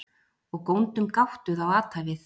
Og góndum gáttuð á athæfið.